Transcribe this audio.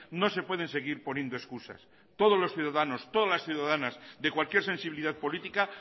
no se pueden seguir poniendo excusas todos los ciudadanos todas las ciudadanas de cualquier sensibilidad política